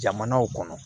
Jamanaw kɔnɔ